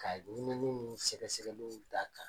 Ka ɲinini ni sɛgɛsɛgɛliw da kan.